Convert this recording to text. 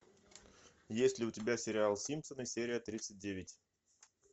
есть ли у тебя сериал симпсоны серия тридцать девять